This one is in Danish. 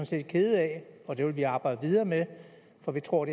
set kede af og det vil vi arbejde videre med for vi tror